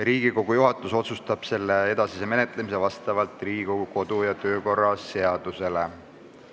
Riigikogu juhatus otsustab selle edasise menetlemise vastavalt Riigikogu kodu- ja töökorra seadusele.